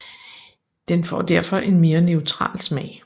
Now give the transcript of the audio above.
Den får derfor en mere neutral smag